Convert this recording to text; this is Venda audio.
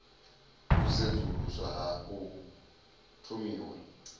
u sedzuluswa ha u thomiwa